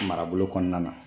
Marabolo kɔnɔna na